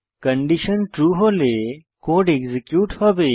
condition true হলে code execute হবে